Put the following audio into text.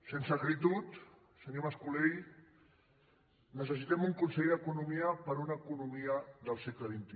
sense acritud senyor mascolell necessitem un conseller d’economia per a una economia del segle xxi